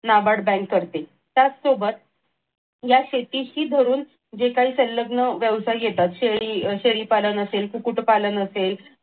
NABARD bank करते त्याच सोबत या शेतीशी धरून जे काही संलग्न व्यवसाय येतात शेळी शेळीपालन असेल कुकुटपालन असेल